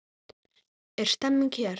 Er stemming hér?